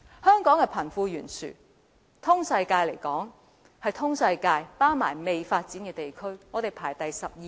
香港的貧富懸殊在全球——全球包括未發展地區——排行第十二、十三位。